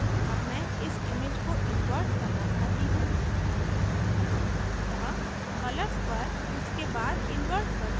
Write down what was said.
अब मैं इस image को invert करना चाहती हूँ अतः colours पर उसके बाद invert पर जाएँ